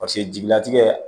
Paseke jigilatigɛ